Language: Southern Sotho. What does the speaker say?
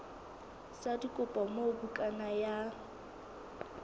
sa dikopo moo bukana ya